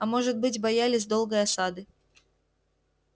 а может быть боялись долгой осады